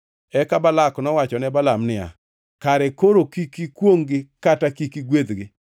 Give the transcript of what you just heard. Eka Balak nowacho ne Balaam niya, “Kare koro kik ikwongʼ-gi kata kik igwedhgi!”